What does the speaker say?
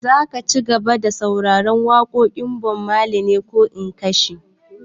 Za ka cigaba da sauraren waƙar Bob Marley ne ko in kashe?